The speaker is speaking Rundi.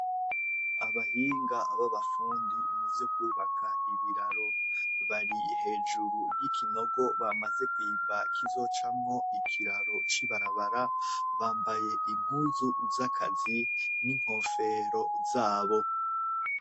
Abahinga b'abafundi mu vyo kwubaka ibiraro bari hejuru y'ikinogo bamaze kwiba kizocamwo ikiraro c'ibarabara bambaye iguzu z'akazi n'inkofero zabo.